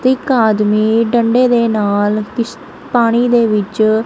ਤੇ ਇੱਕ ਆਦਮੀ ਡੰਡੇ ਦੇ ਨਾਲ ਕਿਸ਼ ਪਾਣੀ ਦੇ ਵਿੱਚ--